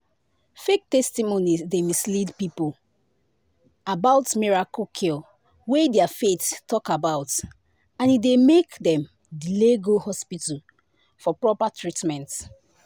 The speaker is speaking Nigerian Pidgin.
fake testimonies dey mislead people about miracle cure wey their faith talk about and e dey make dem delay go hospital for proper treatment.”